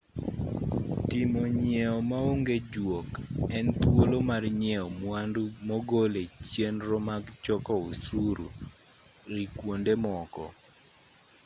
timo nyieo maonge juok en thuolo mar nyieo mwandu mogol e chenro mag choko osuru ei kwonde moko